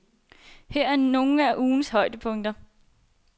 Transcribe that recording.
Her er nogle af ugens højdepunkter.